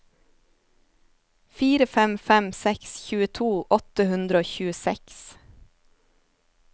fire fem fem seks tjueto åtte hundre og tjueseks